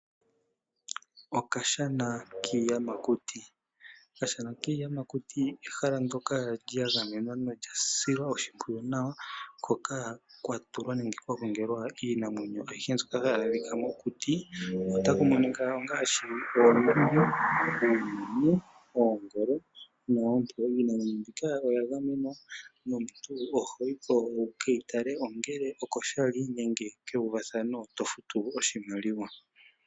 Okashana kiiyamakuti, okashana kiiyamakuti ehala ndyoka lyagamenwa nolyasilwa oshimpwiyu nawa, hoka kwatulwa nenge kwagongelwa iinamwenyo ayihe mbyoka hayi adhikwa mokuti ota ku monika ongaashi: oonduli, uumenye, oongolo noompo. Iinamwenyo mbika oya gamenwa nomuntu ohoyiko wukeyitale ongele oko shali nenge kewu vathano to futu oshimaliwa